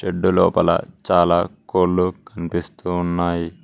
Shed లోపల చాలా కోళ్లు కనిపిస్తూ ఉన్నాయి.